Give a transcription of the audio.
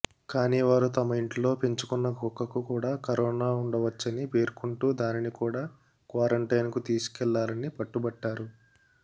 కానీ వారు తమ ఇంట్లో పెంచుకున్న కుక్కకు కూడా కరోనా ఉండవచ్చని పేర్కొంటూ దానిని కూడా క్వారంటైన్కు తీసుకెళ్లాలని పట్టుబట్టారు